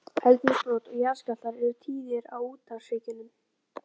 Eldsumbrot og jarðskjálftar eru tíðir á úthafshryggjunum.